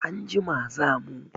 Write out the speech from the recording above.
Anjima za mu.